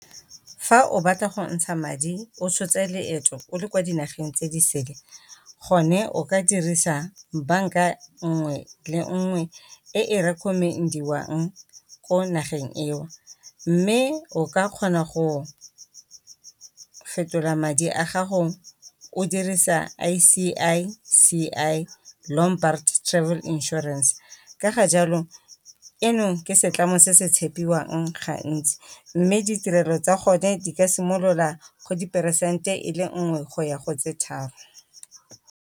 Fa o batla go ntsha madi o tshotse leeto o le kwa dinageng tse di sele gone o ka dirisa banka nngwe le nngwe e e recommend-iwang ko nageng eo, mme o ka kgona go fetola madi a gago o dirisa I_C_I_C_I Lombard travel insurance. Ka ga jalo eno ke setlamo se se tshepiwang ga ntsi, mme ditirelo tsa bone di ka simolola go diperesente e le nngwe go ya go tse tharo.